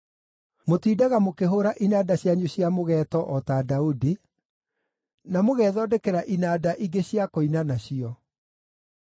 Mũtiindaga mũkĩhũũra inanda cianyu cia mũgeeto o ta Daudi, na mũgethondekera inanda ingĩ cia kũina nacio.